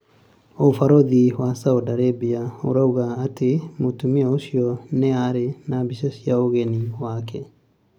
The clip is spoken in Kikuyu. Ũbarũthi wa Saudi Arabia ĩrugaga atĩ mũtumia ũcio 'no arĩ na mbica ya ũgeni yake